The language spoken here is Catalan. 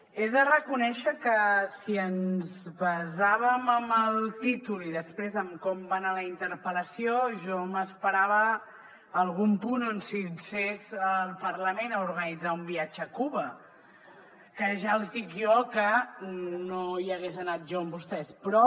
he de reconèixer que si ens basàvem en el títol i després en com va anar la interpel·lació jo m’esperava algun punt on s’instés el parlament a organitzar un viatge a cuba que ja els dic jo que no hi hagués anat jo amb vostès però